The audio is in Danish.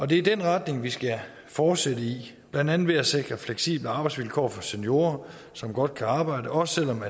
det er den retning vi skal fortsætte i blandt andet ved at sikre fleksible arbejdsvilkår for seniorer som godt kan arbejde også selv om